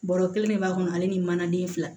Baro kelen min b'a kɔnɔ ale ni manaden fila